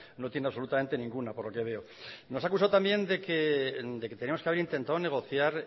no tiene absolutamente ninguna por lo que veo nos ha acusado también de que teníamos que haber intentado negociar